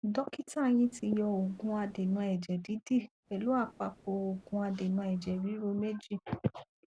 dókítà yín tiyan òògun adènà ẹjẹ dídì pẹlú àpapọ òògùn adènà ẹjẹ ríru méjì